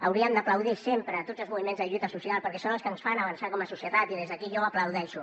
hauríem d’aplaudir sempre tots els moviments de lluita social perquè són els que ens fan avançar com a societat i des d’aquí jo ho aplaudeixo